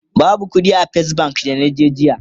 babu ƙuɗi a fes bank da naje jiya